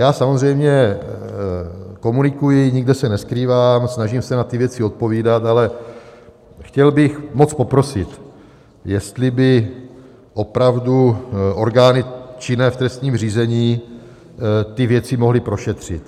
Já samozřejmě komunikuji, nikde se neskrývám, snažím se na ty věci odpovídat, ale chtěl bych moc poprosit, jestli by opravdu orgány činné v trestním řízení ty věci mohly prošetřit.